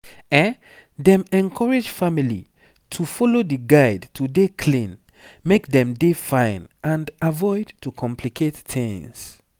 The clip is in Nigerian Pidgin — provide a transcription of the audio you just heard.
dem encourage family to follow di guide to dey clean make dem dey fine and avoid to complicate tings